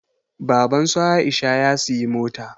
Baban su Aisha ya siyi mota